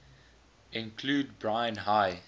include brine high